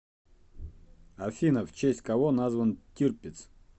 афина в честь кого назван тирпиц